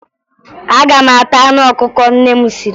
Aga m ata anụ ọkụkọ nne m siri